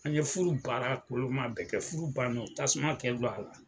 An ye furu baara koloma bɛɛ kɛ, furu ban don tasuma kɛ don a la